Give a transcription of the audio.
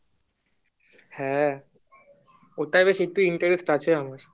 হ্যাঁ তার প্রতি বেশি আছে আমার